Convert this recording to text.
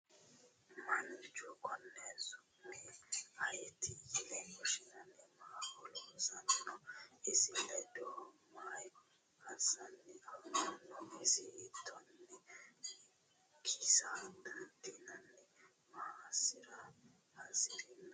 Mannichu konni su'mi ayiitti yinne woshinanni? Maaho loosanni noo? isi ledohu maa assanni affammanno? iso hiittoonni kisa daandiinno? maa asara hasirinno?